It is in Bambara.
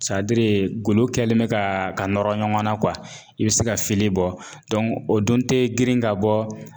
golo kɛlen be ka, ka nɔrɔ ɲɔgɔn na i be se ka fili bɔ o dun te girin ka bɔ.